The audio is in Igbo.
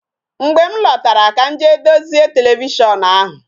Mgbe m lọtara ka m jee dozie televishon ahụ